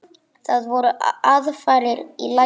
Það voru aðfarir í lagi!